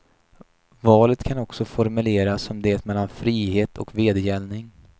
Valet kan också formuleras som det mellan frihet och vedergällning.